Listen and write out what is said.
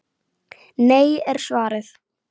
Nei er svarið.